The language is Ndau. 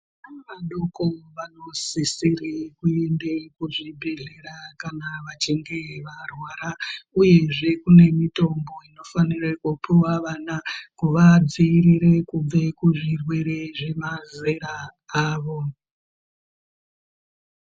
Vana vadoko vanosisire kuende kuzvibhedhlera kana vachinge varwara uyezve kune mitombo inofanire kupuwe vana vachinge varwara uyezve kune mitombo inofanire kupuwe vana kuvadzivirire kubve kuzvirwere zvemazera avo